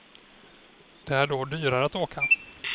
Det är då dyrare att åka.